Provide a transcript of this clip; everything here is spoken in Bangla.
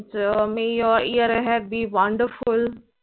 so may your year ahead be wonderful